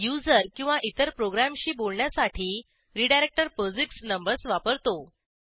user किंवा इतर प्रोग्रॅमशी बोलण्यासाठी रीडायरेक्टर पोझिक्स नंबर्स वापरतो